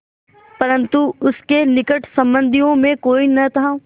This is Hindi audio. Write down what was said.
परन्तु उसके निकट संबंधियों में कोई न था